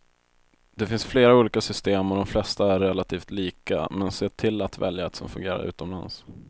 Det finns flera olika system och de flesta är relativt lika, men se till att välja ett som fungerar utomlands.